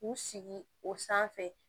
K'u sigi o sanfɛ